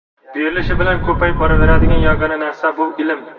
Berilishi bilan ko‘payib boraveradigan yagona narsa bu ilm.